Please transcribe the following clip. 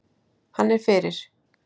Hann er fyrir.